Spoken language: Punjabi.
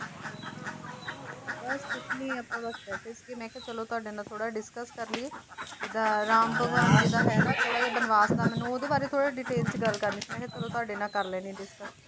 ਬੱਸ ਕੁਝ ਨੀ ਆਪਾਂ ਬੱਸ ਬੈਠੇ ਸੀ ਮੈਂ ਕਿਹਾ ਚਲੋ ਤੁਹਾਡੇ ਨਾਲ ਥੋੜਾ discuss ਕਰ ਲਈਏ ਅਹ ਜਿਦਾਂ ਰਾਮ ਭਗਵਾਨ ਜੀ ਦਾ ਹੈ ਨਾ ਥੋੜਾ ਜਿਹਾ ਬਨਵਾਸ ਦਾ ਮੈਨੂੰ ਉਹਦੇ ਬਾਰੇ ਥੋੜਾ detail ਚ ਗੱਲ ਕਰਨੀ ਸੀ, ਮੈਂ ਕਿਹਾ ਚਲੋ ਤੁਹਾਡੇ ਨਾਲ ਕਰ ਲੈਂਦੇ ਹਾਂ discuss